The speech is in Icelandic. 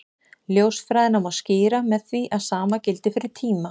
Ljósfræðina má skýra með því að sama gildi fyrir tíma.